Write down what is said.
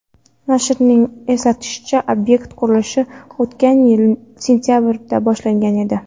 Nashrning eslatishicha, obyekt qurilishi o‘tgan yil sentabrida boshlangan edi.